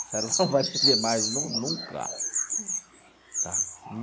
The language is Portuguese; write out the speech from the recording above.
A senhora não vai me ver mais nú nunca.